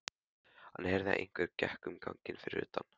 Hann heyrði að einhver gekk um ganginn fyrir utan.